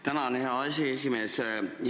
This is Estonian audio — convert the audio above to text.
Tänan, hea aseesimees!